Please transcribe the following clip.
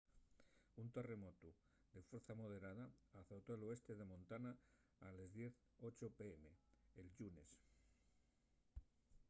un terremotu de fuercia moderada azotó l'oeste de montana a les 10:08 p.m. el llunes